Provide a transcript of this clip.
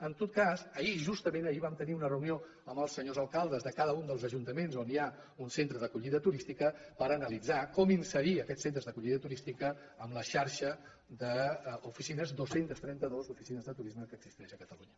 en tot cas ahir justament ahir vam tenir una reunió amb els senyors alcaldes de cada un dels ajuntaments on hi ha un centre d’acollida turística per analitzar com inserir aquests centres d’acollida turística en la xarxa d’oficines dos cents i trenta dos oficines de turisme que existeix a catalunya